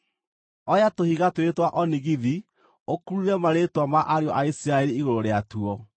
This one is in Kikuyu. “Oya tũhiga twĩrĩ twa onigithi ũkurure marĩĩtwa ma ariũ a Isiraeli igũrũ rĩatuo